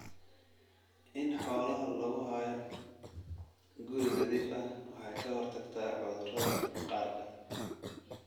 In xoolaha lagu hayo guri nadiif ah waxay ka hortagtaa cudurrada maqaarka.